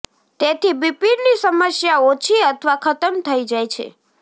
તેથી બીપીની સમસ્યા ઓછી અથવા ખતમ થઇ જાય છે